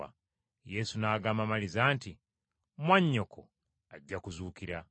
Yesu n’agamba Maliza nti, “Mwannyoko ajja kuzuukira.”